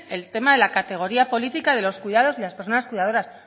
el tema de la categoría política de los cuidados y de las personas cuidadoras